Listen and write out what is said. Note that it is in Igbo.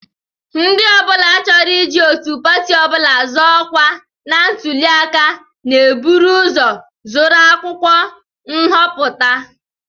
Ndị ọ bụla chọrọ iji otu pati ọ bụla zọọ ọkwa na ntụli aka na-eburu ụzọ zụrụ akwụkwọ nhọpụta